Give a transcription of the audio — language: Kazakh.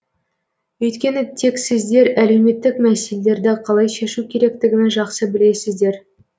өйткені тек сіздер әлеуметтік мәселелерді қалай шешу керектігін жақсы білесіздер